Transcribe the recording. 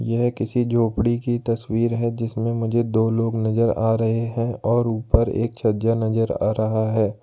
यह किसी झोपड़ी की तस्वीर है जिसमें मुझे दो लोग नजर आ रहे हैं और ऊपर एक छज्जा नजर आ रहा है।